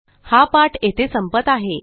हा पाठ येथे संपत आहे